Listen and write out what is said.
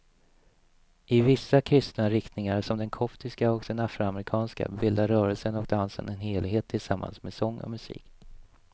I vissa kristna riktningar som den koptiska och den afroamerikanska bildar rörelsen och dansen en helhet tillsammans med sång och musik.